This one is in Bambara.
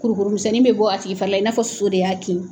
Kurukuruni misɛnnin bɛ bɔ a tigi farila i na fɔ soso de y'a kin.